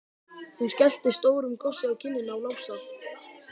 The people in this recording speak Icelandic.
Hún skellti stórum kossi á kinnina á Lása.